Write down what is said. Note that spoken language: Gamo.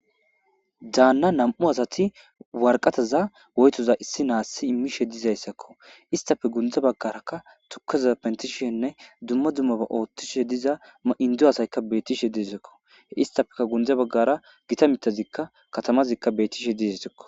daanna nam7u asati warqataza woytoza issi naassi immishe diizayssakko istafe gunda baggarakka tukazaza pentishenne dumma dummaba oothtishe diza maindu asaykka bettishe disekko he istafeka gundza baggara gita mitazikka katamazikka bettishe dizisekko